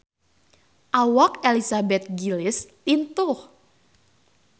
Awak Elizabeth Gillies lintuh